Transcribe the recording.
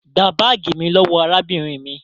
gbà baagi mí lówó arábìnrin mí!